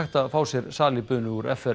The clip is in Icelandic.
að fá sér salíbunu úr